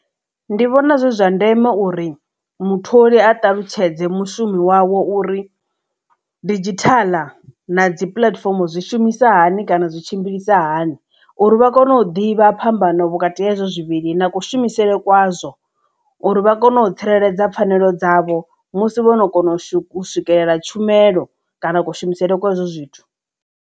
Ndi vhona zwi zwa ndeme uri mutholi a ṱalutshedze mushumi wawe uri didzhithaḽa na dzi puḽatifomo zwi shumisa hani kana zwi tshimbilisa hani uri vha kone u ḓivha phambano vhukati ha hezwo zwivhili na kushumisele kwa zwo uri vha kone u tsireledza pfhanelo dzavho musi vhono kona u swikelela tshumelo kana kushumisele kwa hezwo zwithu.